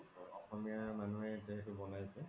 অসমীয়া মানুহে তেনেকে বনাইছে